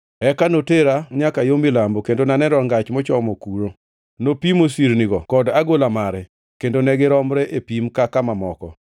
Eka notera nyaka yo milambo kendo naneno rangach mochomo kuno. Nopimo sirnigo kod agola mare, kendo ne giromre e pim kaka mamoko.